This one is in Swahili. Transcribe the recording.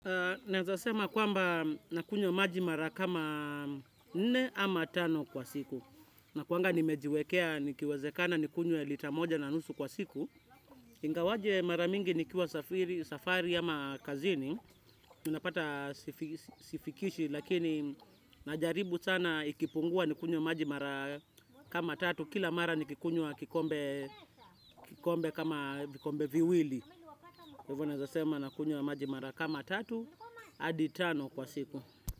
Naezasema kwamba nakunywa maji mara kama nne ama tano kwa siku. Nakuanga nimejiwekea nikiwezekana nikunywe lita moja na nusu kwa siku. Ingawaje mara mingi nikiwa safari ama kazini. Unapata sifikishi lakini najaribu sana ikipungua nikunywe maji mara kama tatu. Kila mara nikunywa kikombe kama vikombe viwili. Kwa ivo naezasema nakunywa maji mara kama tatu, adi tano kwa siku.